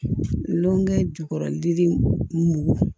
Nɔnɔ ye jukɔrɔ dili mugu